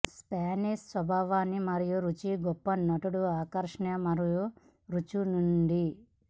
Spanish స్వభావాన్ని మరియు రుచి గొప్ప నటుడు ఆకర్షణ మరియు రుచులు నిండి